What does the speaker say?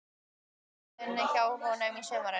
Ég hafði alltaf unnið hjá honum á sumrin.